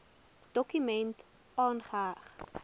dokument aangeheg